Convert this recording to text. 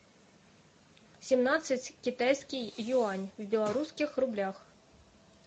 семнадцать китайский юань в белорусских рублях